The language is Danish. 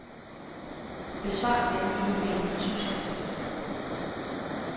Besvar denne e-mail på tysk.